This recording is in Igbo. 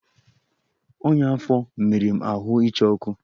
Ọnya afọ mere m ahụ ịcha ọkụ